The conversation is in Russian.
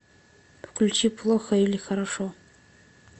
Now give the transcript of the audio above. включи плохо или хорошо